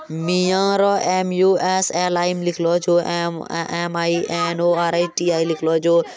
मिआरो MUS lime लिखलो छो एम_एम_आई_एन_ओ_आर_आई_टी_आई लिखलो जो---